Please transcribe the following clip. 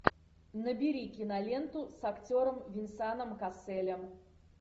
набери киноленту с актером венсаном касселем